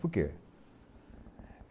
Por quê?